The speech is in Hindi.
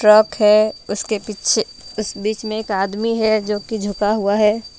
ट्रक है उसके पीछे उस बीचमे एक आदमी है जो की झुका हुआ है.